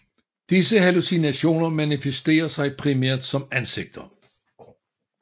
Disse hallucinationer manifesterer sig primært som ansigter